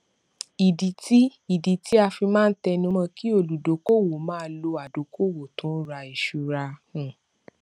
ìdí tí ìdí tí a fi máa ń tẹnumọ kí olùdókòówò máa lò adókòówò tó ń ra ìṣúra um